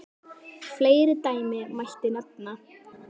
Fleiri dæmi mætti nefna.